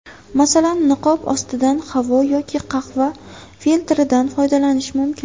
Masalan, niqob ostidan havo yoki qahva filtridan foydalanish mumkin.